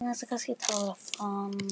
Hvernig tónlist spilið þið?